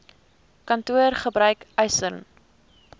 kantoor gebruik eisnr